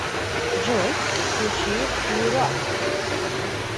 джой включи клюрап